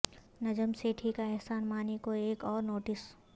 نجم سیٹھی کا احسان مانی کو ایک اور نوٹس